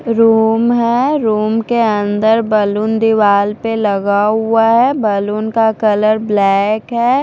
Room है room के अन्दर बैलून दीवाल पे लगा हुआ है बैलून का कलर ब्लैक है।